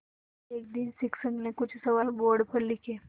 एक दिन शिक्षक ने कुछ सवाल बोर्ड पर लिखे